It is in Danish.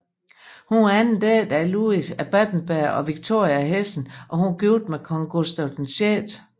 Hun var anden datter af Louis af Battenberg og Viktoria af Hessen og gift med Kong Gustav 6